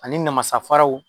Ani namasafaraw